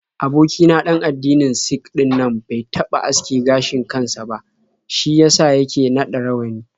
Aboki na ɗan addinin Sik ɗinnan bai taɓa aske gashin kan sa ba, shi ya sa yake naɗa rawani.